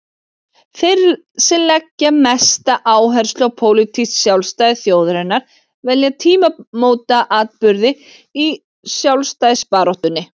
Þeir sem leggja mesta áherslu á pólitískt sjálfstæði þjóðarinnar velja tímamótaatburði í sjálfstæðisbaráttunni.